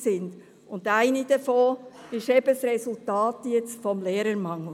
Ein Resultat davon ist jetzt eben der Lehrermangel.